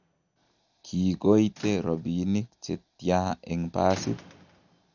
kiikoite robinik che tya eng' basit?